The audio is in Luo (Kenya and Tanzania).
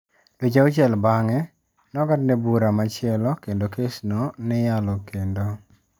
Dweche auchiel bang'e, nong'adne bura machielo kendo kes no ni yalo kendo.